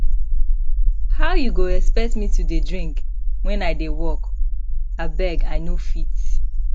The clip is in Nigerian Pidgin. how you go expect me to dey drink wen i dey work abeg i no fit